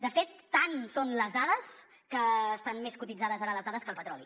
de fet tant són les dades que estan més cotitzades ara les dades que el petroli